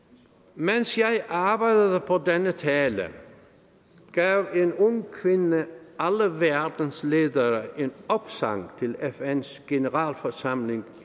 mens jeg arbejdede på denne tale gav en ung kvinde alle verdens ledere en opsang til fn’s generalforsamling